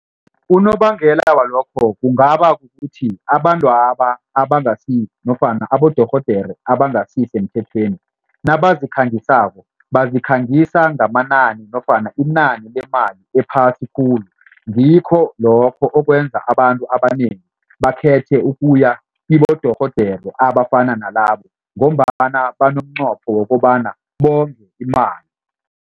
Unobangela walokho kungaba kukuthi abantwaba abangasi nofana abodorhodere abangasisemthethweni nabazikhangisako bazikhangisa ngamanani nofana inani lemali ephasi khulu. Ngikho lokho okwenza abantu abanengi bakhethe ukuya kibodorhodere abafana nalabo ngombana banomnqopho wokobana bonge imali.